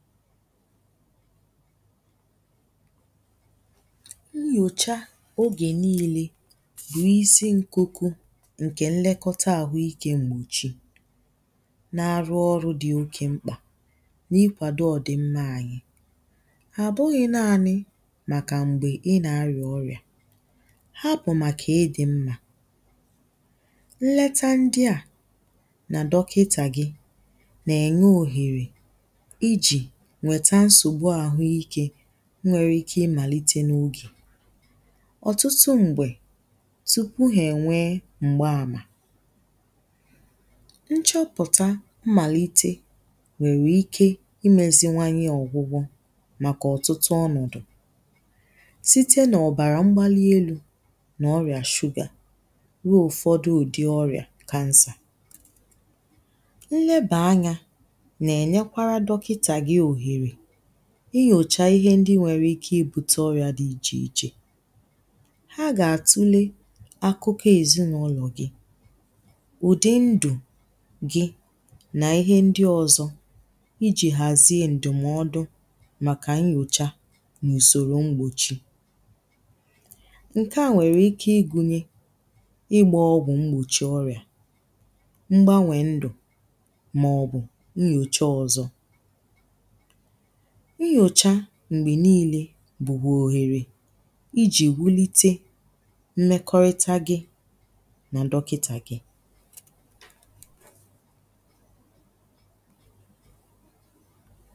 nyòcha ogè niilė n’isi nkuku ǹkè nlekọta àhụ ikė m̀gbòchi na-arụ ọrụ̇ dị̀ oke mkpà n’ikwàdò ọ̀dị̀ mmȧ anyi àbụghị̇ naali màkà m̀gbè ị nà-arịà ọrị̀à ha bụ̀ màkà ị dị̀ mmȧ nleta ndị à nà dọkịta gị nà-ènye òhèrè nwere ike imàlite n’ogè ọ̀tụtụ m̀gbè tupu ha ènwee m̀gbaàmà nchọpụ̀ta mmàlite nwèrè ike imėziwanye ọ̀gwụgwọ màkà ọ̀tụtụ ọnọ̀dụ̀ site nà ọ̀bàrà mgbalielu̇ nà ọrìà shuga ruo ụ̀fọdụ ùdi ọrìà kansà nleba anyȧ inyòchà ihe ndi nwèrè ike ibute ọrìà di ichè ichè ha gà-àtule akụkọ èzinàụlọ̀ gị ụ̀dị ndù gị nà ihe ndi ọzọ̇ ijì hàzie ǹdụ̀mọdụ màkà nyòchà n’ùsòrò mgbochi ǹke à nwèrè ike igunye ịgba ọgwụ̀ mgbòchi ọrìà mgbanwè ndù mà ọ̀gụ̀ nnyòchà ọzọ̇ mgbè niile bụ̀kwà òhèrè ijì wulite mmekọrita gi̇ na dọkịta gi̇